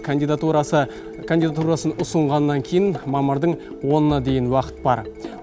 кандидатурасы кандидатурасын ұсынғаннан кейін мамырдың онына дейін уақыт бар